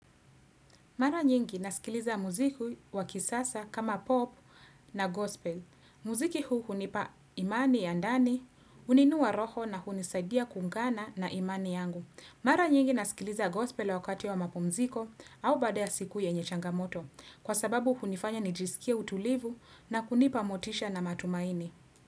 Mara nyingi nasikiliza muziku wa kisasa kama pop na gospel. Muziki huu hunipa imani ya ndani, huniinua roho na hunisaidia kuungana na imani yangu. Mara nyingi nasikiliza gospel wakati wa mapumziko au baada ya siku yenye changamoto. Kwa sababu hunifanya nijisikie utulivu na kunipa motisha na matumaini.